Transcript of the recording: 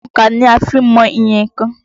Òńkà ni a fi ń mọ iye nnkan.